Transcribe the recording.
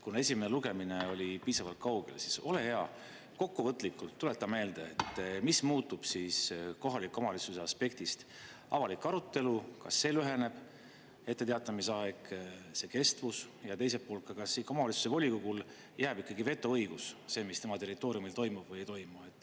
Kuna esimene lugemine oli piisavalt kaugel, siis ole hea, kokkuvõtlikult tuleta meelde, mis muutub kohaliku omavalitsuse aspektist: avalik arutelu, kas see lüheneb, etteteatamise aeg, kestvus ja teiselt poolt, kas omavalitsuse volikogul jääb ikkagi vetoõigus, see, mis tema territooriumil toimub või ei toimu?